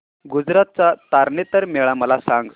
गुजरात चा तारनेतर मेळा मला सांग